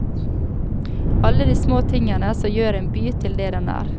Alle de små tingene som gjør en by til det den er.